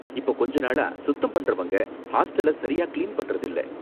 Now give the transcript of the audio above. இப்போ கொஞ்ச நாளா சுத்தம் பண்றவங்க ஹாஸ்டல சரியா கிளீன் பண்றது இல்ல